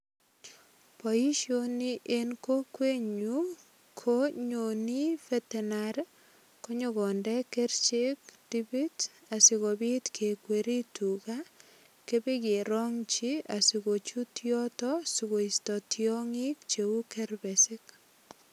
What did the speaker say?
Boisioni eng kokwenyu ko nyoni veterinary konyokonde kerichek dipit asigopit kekweri tuga kipegerongchi asigochut yoto sigoisto tiangik cheu kerpesik.